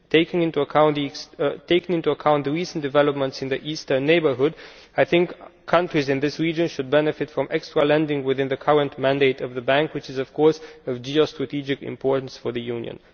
Taking into account the recent developments in the Eastern Neighbourhood, I think countries in this region should benefit from extra lending within the current mandate of the Bank, which is of course of geo strategic importance for the Union.